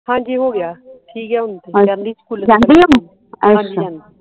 ਹਾਂਜੀ ਹੋਗਿਆ ਏ ਠੀਕ ਆ ਹੁਣ ਜਾਂਦੀ ਸਕੂਲੇ ਹਾਂਜੀ ਜਾਂਦੀ